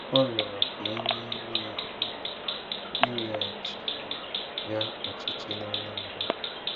Ọ rịọrọ ka e meere ya ebere, e weghachiri ya ọchịchị n'Anambra.